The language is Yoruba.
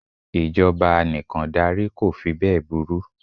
Ìjọba anìkàndarí ko fí bẹ́è burú.